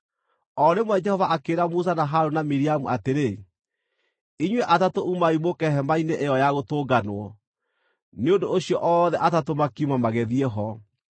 O rĩmwe Jehova akĩĩra Musa na Harũni na Miriamu atĩrĩ, “Inyuĩ atatũ umai mũũke Hema-inĩ ĩyo-ya-Gũtũnganwo.” Nĩ ũndũ ũcio othe atatũ makiuma magĩthiĩ ho.